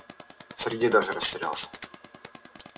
сергей даже растерялся